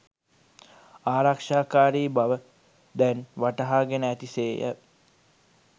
ආරක්ෂාකාරී බව දැන් වටහාගෙන ඇති සේය.